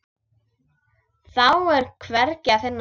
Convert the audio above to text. Þá er hvergi að finna.